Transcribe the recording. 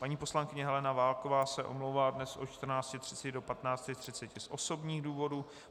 Paní poslankyně Helena Válková se omlouvá dnes od 14.30 do 15.30 z osobních důvodů.